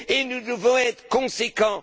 Nous devons être conséquents.